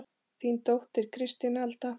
Þín dóttir Kristín Alda.